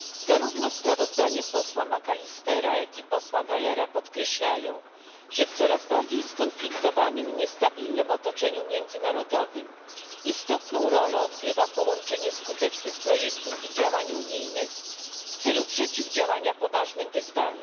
Zarówno sprawozdanie posła McAllistera, jak i posła Gahlera podkreślają, że w coraz bardziej skonfliktowanym i niestabilnym otoczeniu międzynarodowym istotną rolę odgrywa połączenie skutecznych projektów i działań unijnych w celu podjęcia poważnych wyzwań.